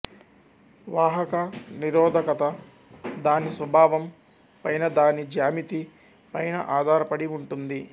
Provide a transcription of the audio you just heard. వాహక నిరోధకత దాని స్వభావం పైనదాని జ్యామితి పైన అధారపడి ఉంటుంది